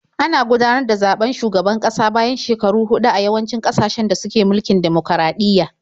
Ana gudanar da zaɓen shugaban kasa bayan shekaru huɗu a yawancin ƙasashen da suke mulkin dimokuraɗiyya.